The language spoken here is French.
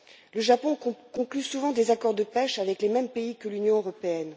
Le Japon conclut souvent des accords de pêche avec les mêmes pays que l'Union européenne.